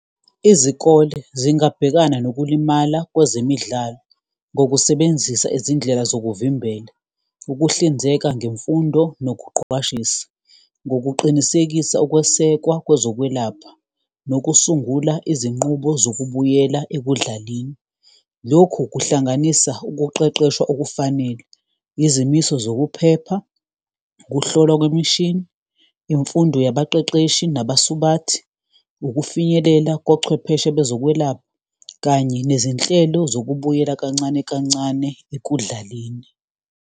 Izikole zingabhekana nokulimala kwezemidlalo ngokusebenzisa izindlela zokuvimbela, ukuhlinzeka ngemfundo nokuqwashisa ngokuqinisekisa ukwesekwa kwezokwelapha nokusungula izinqubo zokubuyela ekudlaleni. Lokhu kuhlanganisa ukuqeqeshwa okufanele, izimiso zokuphepha, ukuhlolwa kwemishini, imfundo yabaqeqeshi nabasubathi, ukufinyelela kochwepheshe bezokwelapha kanye nezinhlelo zokubuyela kancane kancane ekudlaleni.